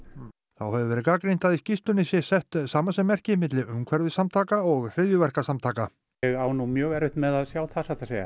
þá hefur verið gagnrýnt að í skýrslunni sé sett samasemmerki milli umhverfissamtaka og hryðjuverkasamtaka ég á nú mjög erfitt með að sjá það satt að segja